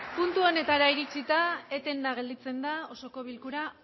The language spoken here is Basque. puntu honetara iritsita etenda gelditzen da osoko bilkura